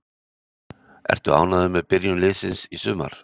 Ertu ánægður með byrjun liðsins í sumar?